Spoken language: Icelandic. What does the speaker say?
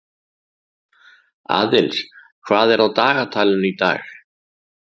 Aðils, hvað er á dagatalinu í dag?